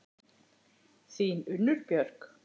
Þín, Unnur Björk.